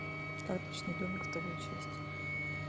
карточный домик вторая часть